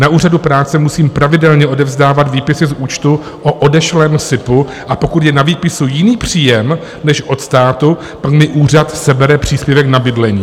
Na Úřadu práce musím pravidelně odevzdávat výpisy z účtu o odešlém Sipu, a pokud je na výpisu jiný příjem než od státu, tak mi úřad sebere příspěvek na bydlení.